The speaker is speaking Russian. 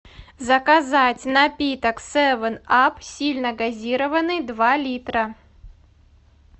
заказать напиток севен ап сильно газированный два литра